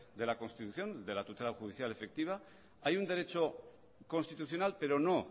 de la constitución de la tutela judicial efectiva hay un derecho constitucional pero no